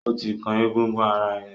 O ti kan egungun ara ẹ!